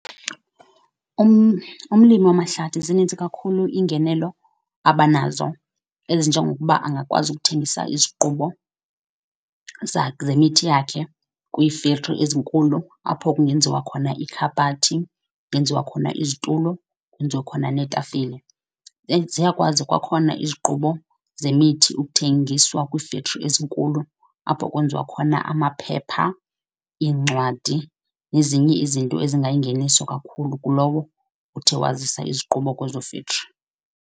Umlimi wamahlathi zininzi kakhulu iingenelo abanazo, ezinjengokuba angakwazi ukuthengisa iziqubo zemithi yakhe kwii-factory ezinkulu apho kungenziwa khona iikhabhathi, kungenziwa khona izitulo, kwenziwe khona neetafile. And ziyakwazi kwakhona iziqubo zemithi ukuthengiswa kwii-factory ezinkulu apho kwenziwa khona amaphepha, iincwadi nezinye izinto ezingayingeniso kakhulu kulowo uthe wazisa iziqubo kwezo factory.